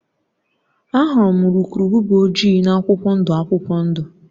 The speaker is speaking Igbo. Ahụrụ m urukurubụba ojii na akwụkwọ ndụ akwụkwọ ndụ